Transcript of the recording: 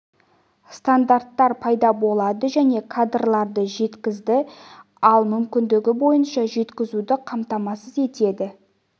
стандарттар пайда болады және кадрларды жеткізді ал мүмкіндігі бойынша жеткізуді қамтамасыз етеді